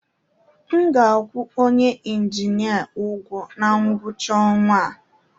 M ga-akwụ onye injinia ụgwọ na ngwụcha ọnwa a